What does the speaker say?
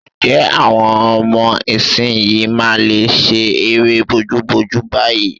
Ǹjẹ́ àwọn ọmọ ìsinyìí máa lè ṣe eré bojúbojú báyìí?